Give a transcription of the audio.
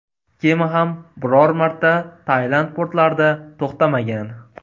Kema ham biror marta Tailand portlarida to‘xtamagan.